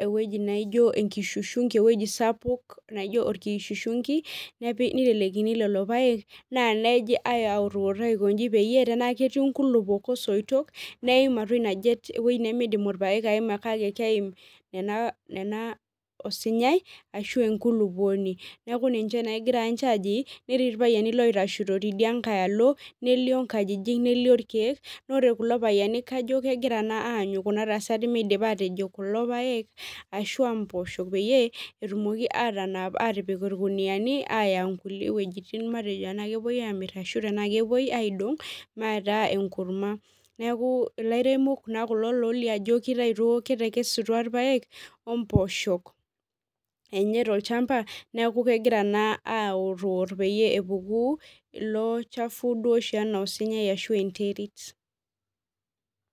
ewueji naijo atua enkishungi ewueji sapuk, naijo orkishungi, nitelekini lelo paek, naa neji autuut aikonji peyie, tenaa ketii nkulukuok osoitok, neim atua ina jet ewoi nimidim irpaek aima kake keim nena osinyai, ashu enkulukuoni. Neeku ninche naa egira nche aji, netii irpayiani loitashito tidia nkae alo, nelio nkajijik nelio irkeek, nore kulo payiani kajo kegira naa aanyu kuna tasati midipa atiji kulo paek, ashua mpoosho peyie, etumoki atanap atipik irkuniyiani aya nkulie wuejiting matejo anaa kepoi amir ashu tenaa kepoi aidong', maita enkurma. Neeku ilairemok naa kulo lolio ajo kitaito kitekesutua irpaek, ompooshok enye tolchamba, neeku kegira naa aotwot peyie epuku ilo chafu duo enaa osinyai ashu enterit.